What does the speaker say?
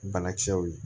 Banakisɛw ye